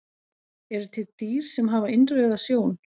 Eru til dýr sem hafa innrauða sjón?